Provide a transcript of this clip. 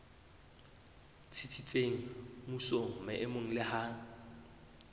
tsitsitseng mmusong maemong le ha